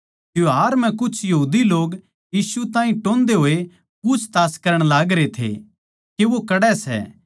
त्यौहार म्ह कुछ यहूदी लोग यीशु ताहीं टोह्न्दे होए पूछताछ करण लागरे थे के वो कड़ै सै